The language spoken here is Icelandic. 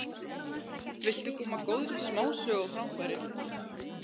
Viltu koma góðri smásögu á framfæri?